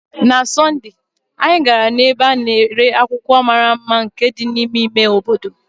Na Sọnde, anyị gara n'ebe a na-ere akwụkwọ mara mma nke dị n'ime ime obodo.